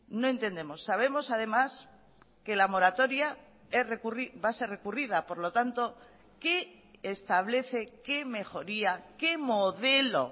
no entendemos sabemos además que la moratoria va a ser recurrida por lo tanto qué establece qué mejoría qué modelo